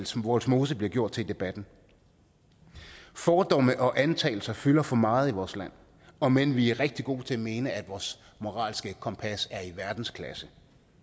som vollsmose bliver gjort til i debatten fordomme og antagelser fylder for meget i vores land om end vi er rigtig gode til at mene at vores moralske kompas er i verdensklasse